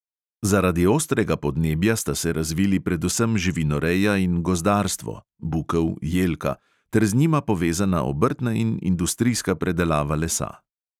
Zaradi ostrega podnebja sta se razvili predvsem živinoreja in gozdarstvo (bukev, jelka) ter z njima povezana obrtna in industrijska predelava lesa.